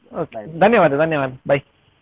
ಧನ್ಯವಾದ ಧನ್ಯವಾದ bye .